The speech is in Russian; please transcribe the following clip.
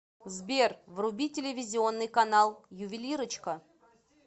сбер вруби телевизионный канал ювелирочка